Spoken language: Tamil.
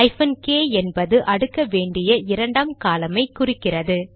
ஹைபன் கே என்பது அடுக்க வேண்டிய இரண்டாம் காலம் ஐ குறிக்கிறது